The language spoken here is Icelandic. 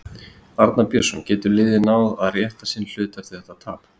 Arnar Björnsson: Getur liðið náð að rétta sinn hlut eftir þetta tap?